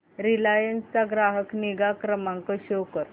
Reliance चा ग्राहक निगा क्रमांक शो कर